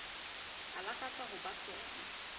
a lakatsang ho ba sona